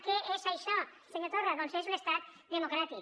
què és això senyor torra doncs és un estat democràtic